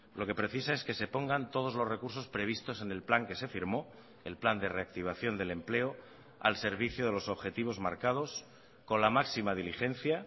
lo que precisa es que se pongan todos los recursos previstos en el plan que se firmó el plan de reactivación del empleo al servicio de los objetivos marcados con la máxima diligencia